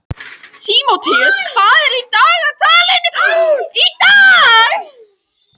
Tímóteus, hvað er í dagatalinu í dag?